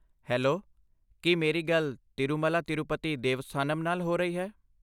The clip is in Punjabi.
ਹੈਲੋ! ਕੀ ਮੇਰੀ ਗੱਲ ਤਿਰੁਮਾਲਾ ਤਿਰੂਪਤੀ ਦੇਵਸਥਾਨਮ ਨਾਲ ਹੋ ਰਹੀ ਹੈ?